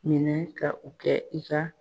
Minɛ ka u kɛ i ka